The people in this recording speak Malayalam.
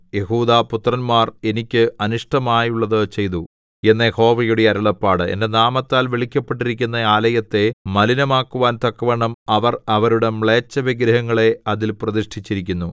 യെഹൂദാപുത്രന്മാർ എനിക്ക് അനിഷ്ടമായുള്ളതു ചെയ്തു എന്ന് യഹോവയുടെ അരുളപ്പാട് എന്റെ നാമത്താൽ വിളിക്കപ്പെട്ടിരിക്കുന്ന ആലയത്തെ മലിനമാക്കുവാൻ തക്കവണ്ണം അവർ അവരുടെ മ്ലേച്ഛവിഗ്രഹങ്ങളെ അതിൽ പ്രതിഷ്ഠിച്ചിരിക്കുന്നു